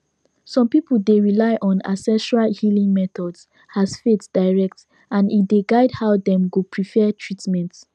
some people dey rely on ancestral healing methods as faith direct and e dey guide how dem go prefer treatment